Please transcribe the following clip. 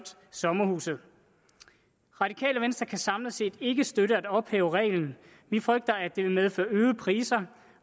sommerhuse radikale venstre kan samlet set ikke støtte at ophæve reglen vi frygter at det vil medføre øgede priser